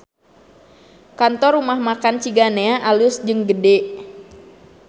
Kantor Rumah Makan Ciganea alus jeung gede